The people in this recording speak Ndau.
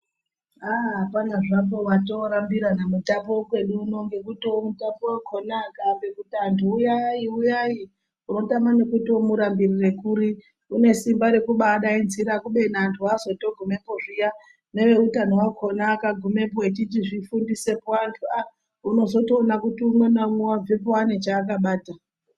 Haaa hapana zvapo watoorambira nemutape wekwedu uno neekutivo mutape wakona akaambe kuti vantu huyai huyai unotama nekuti womurambirire kuri , unesimba rekubaadanidzira kubeni vantu vazotogumepo zviyaa neveutano wakona akagumepo echizvifundisepo antu aaa unozotoona kuti umwe naumwe wabvepo une chaakabata.